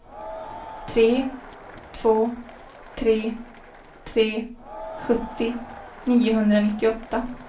tre två tre tre sjuttio niohundranittioåtta